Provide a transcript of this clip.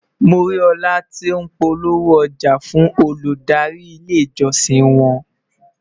mọ rí òla tó n polówó ọja fún Olùdarí ilé ìjósìn won